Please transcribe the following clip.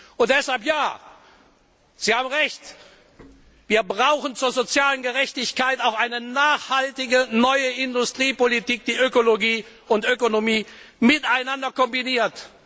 Und deshalb, ja, Sie haben recht, wir brauchen zur sozialen Gerechtigkeit auch eine nachhaltige neue Industriepolitik, die Ökologie und Ökonomie miteinander kombiniert.